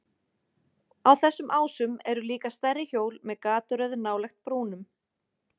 Á þessum ásum eru líka stærri hjól með gataröð nálægt brúnum.